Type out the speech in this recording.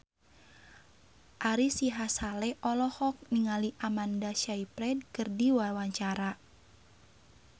Ari Sihasale olohok ningali Amanda Sayfried keur diwawancara